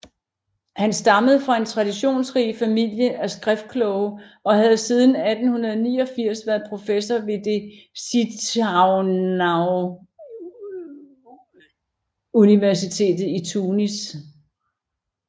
Han stammede fra en traditionsrig familie af skriftkloge og havde siden 1889 været professor ved Zitounauniversitetet i Tunis